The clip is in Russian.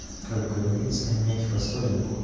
как говорится меть фасолинку